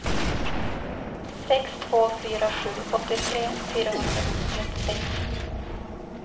sex två fyra sju åttiotre fyrahundratrettiosex